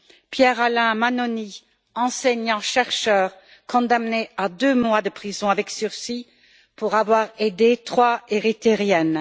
Pierre Alain Mannoni, enseignant chercheur, condamné à deux mois de prison avec sursis pour avoir aidé trois Érythréennes.